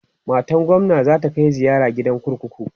matan gwamna zata Kai ziyara gidan kurkuku